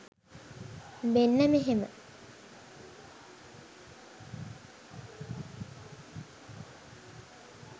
මෙන්න මෙහෙම.